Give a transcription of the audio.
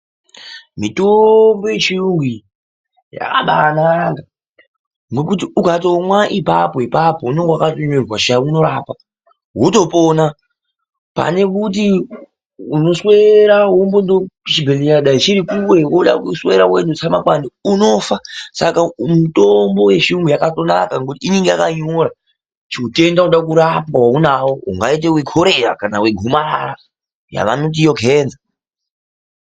Mitombo yechiyungu iyi yakabanaka nokuti ukatomwa ipapo ipapo unenge wakatonyirerwa pashi unorapa wotopona pane kuti woswera pamwe chibhedhlera chiri kure woda kuswera weiduse makwande saka unofa mitombo iyi yakabanaka ngokuti unenge wakanyora kuti utenda unoda kurapwa waunawo kungaita korera kana gomarara yavanoti ivo kenza.